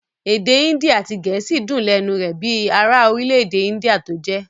Èdè índì àti gẹ̀ẹ́sì dùn lẹ́nu rẹ̀ bíi ara orílẹ-èdè índíà tó jẹ́.